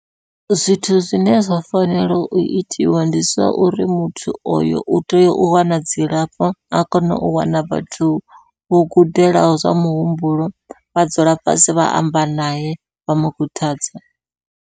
Zwithu zwine zwa fanela u itiwa ndi zwa uri muthu oyo u tea u wana dzilafho, a kone u wana vhathu vho gudelaho zwa muhumbulo, vha dzula fhasi vha amba nae vha mukhuthadza.